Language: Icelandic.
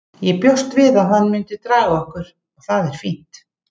Ég bjóst við að hann myndi draga okkur og það er fínt.